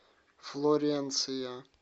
флоренция